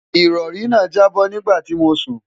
ìrọ̀rí náà jábọ́ nígbà tí mò ń sùn